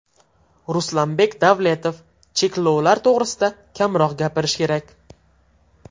Ruslanbek Davletov: Cheklovlar to‘g‘risida kamroq gapirish kerak.